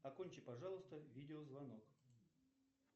окончи пожалуйста видеозвонок